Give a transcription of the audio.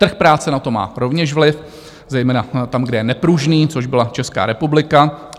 Trh práce na to má rovněž vliv zejména tam, kde je nepružný, což byla Česká republika.